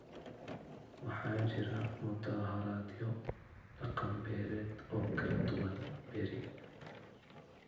Waxaa jira mudaaharaadyo dhaqan-beereed oo kala duwan berri.